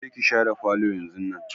Je ki shara falo yanzunnan!